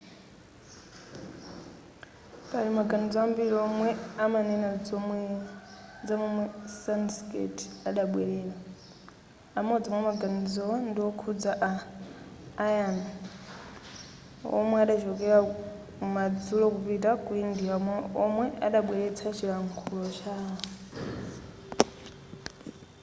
pali maganizo ambiri omwe amanena zamomwe sanskrit adabwelera amodzi mwamaganizowo ndiwokhuza a aryan womwe adachokera kumadzulo kupita ku india womwe adabweretsa chilankhulo chawo